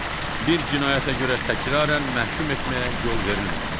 Bir cinayətə görə təkrarən məhkum etməyə yol verilməməsi.